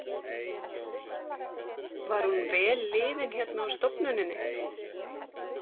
Var hún vel liðin hérna á stofnuninni?